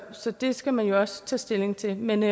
så det skal man jo også tage stilling til men